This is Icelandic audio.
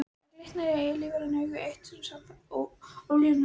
Það glittir í lífræn augu, eitt sinn ólífræn mér.